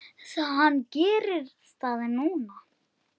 Hann gerir það núna.